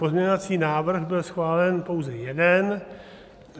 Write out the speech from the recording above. Pozměňovací návrh byl schválen pouze jeden.